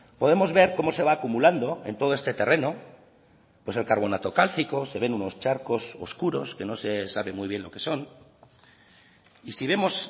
podemos ver cómo se va acumulando en todo este terreno pues el carbonato cálcico se ven unos charcos oscuros que no se sabe muy bien lo que son y si vemos